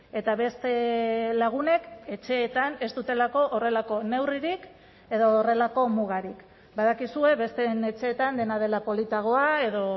eta beste lagunek etxeetan ez dutelako horrelako neurririk edo horrelako mugarik badakizue besteen etxeetan dena dela politagoa edo